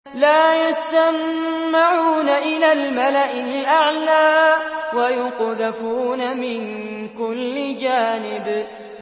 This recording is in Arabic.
لَّا يَسَّمَّعُونَ إِلَى الْمَلَإِ الْأَعْلَىٰ وَيُقْذَفُونَ مِن كُلِّ جَانِبٍ